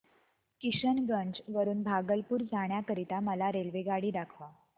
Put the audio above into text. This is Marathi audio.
किशनगंज वरून भागलपुर जाण्या करीता मला रेल्वेगाडी दाखवा